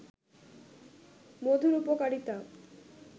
মধুর উপকারিতা